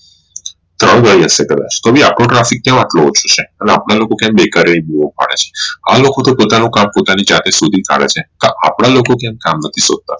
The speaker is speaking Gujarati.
થઇ રહી હશે કદાચ તો પણ આપડો traffic કમ આટલો ઓછો છે હવે આપડા લોકો કઈ બેકારી જ જોવા મળે છે આ લોકો તો પોતાનું કામ પોતાની જાતે શોધી કાઢે છે તો આપડા લોકો કેમ કામ નથી શોધતા